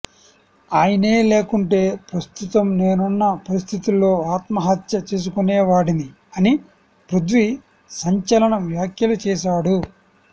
ఆయనే లేకుంటే ప్రస్తుతం నేనున్న పరిస్థితుల్లో ఆత్మహత్య చేసుకునేవాడిని అని పృథ్వీ సంచలన వ్యాఖ్యలు చేశాడు